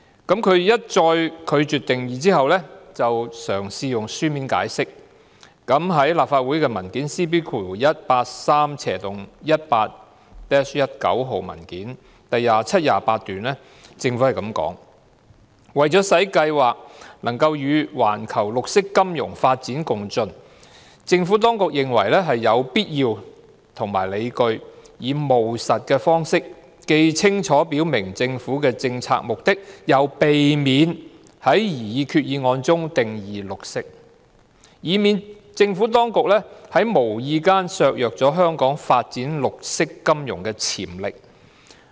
當局一再拒絕下定義，然後嘗試以書面解釋，據立法會 CB183/18-19 號文件第27段所述，政府表示："為使計劃能與環球綠色金融發展共進，政府當局認為有必要及理據以務實的方式，既清楚表明政府的政策目的，又避免在擬議決議案中定義'綠色'，以免政府當局在無意間削弱香港發展綠色金融的潛力。